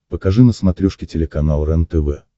покажи на смотрешке телеканал рентв